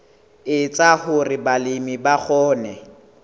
etsa hore balemi ba kgone